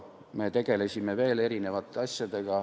Me tegelesime veel erinevate asjadega.